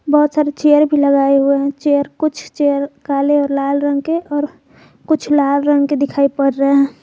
बहुत सारे चेयर भी लगाए हुए हैं चेयर कुछ चेयर काले और लाल रंग के और कुछ लाल रंग के दिखाई पड़ रहे है।